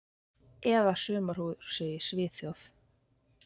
Eða sumarhúsi í Svíþjóð.